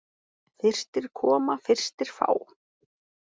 Fyrstir koma, fyrstir fá.